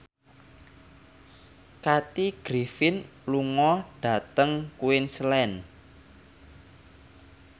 Kathy Griffin lunga dhateng Queensland